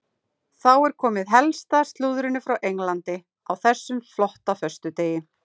Þá er komið að helsta slúðrinu frá Englandi á þessum flotta föstudegi.